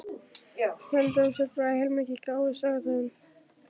Ég held þú sért bara heilmikið gáfuð, sagði hún.